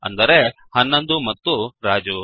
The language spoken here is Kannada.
ಅಂದರೆ 11 ಮತ್ತು ರಾಜು